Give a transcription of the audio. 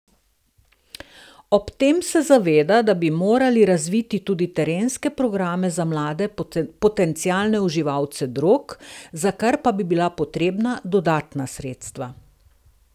Ob tem se zaveda, da bi morali razviti tudi terenske programe za mlade potencialne uživalce drog, za kar pa bi bila potrebna dodatna sredstva.